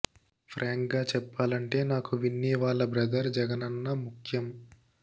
ఫ్రాంక్గా చెప్పాలంటే నాకు విన్నీ వాళ్ల బ్రదర్ జగన్ అన్న ముఖ్యం